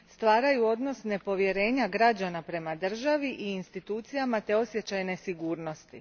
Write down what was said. Stvaraju odnos nepovjerenja građana prema državi i institucijama te osjećaj nesigurnosti.